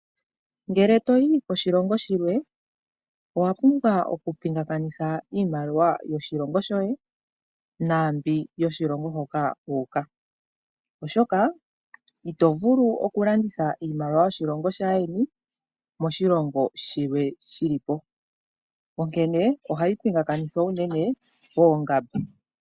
Ngele toyi koshilongo shilwe owa pumbwa oku pingakanitha iimaliwa yoshilongo shoye naambyoka yoshilongo hoka wuuka, oshoka ito vulu oku landitha iimaliwa yoshilongo shaayeni moshilongo shilwe shili po, onkene ohayi pingakanithwa uunene poongamba.